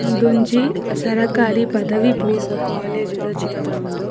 ಉಂದೊಂಜಿ ಸರಕಾರಿ ಪದವಿ ಪೂರ್ವ ಕಾಲೇಜ್ದ ಚಿತ್ರ ಉಂದು.